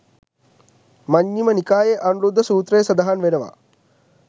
මජ්ඣිම නිකායේ අනුරුද්ධ සූත්‍රයේ සඳහන් වෙනවා.